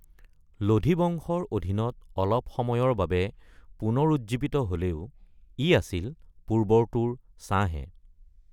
লোদী বংশৰ অধীনত অলপ সময়ৰ বাবে পুনৰুজ্জীৱিত হ’লেও ই আছিল পূৰ্বৰটোৰ ছাঁহে।